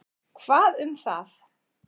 Hvað um það?